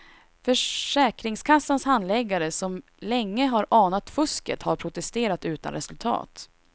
Försäkringskassans handläggare som länge har anat fusket har protesterat utan resultat.